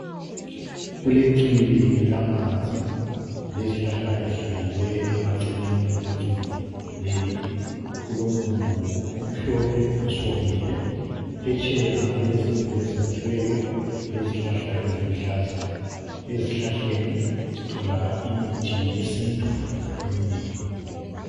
Kulechibi lamanzi lezihlahla ezihlanyeliweyo emaceleni kwechibi leli. Kulomumbu omhlophe osuwomile. Phetsheya kulezindlu ezakhiweyo lezihlahla eziluhlaza. Ezihlahleni sithola imithi yesintu eminengi.